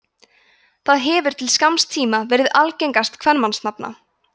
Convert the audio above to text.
það hefur til skamms tíma verið algengast kvenmannsnafna